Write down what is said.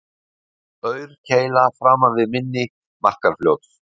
Aurkeila framan við mynni Markarfljóts